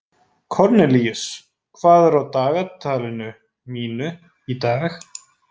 Kornelíus, hvað er á dagatalinu mínu í dag?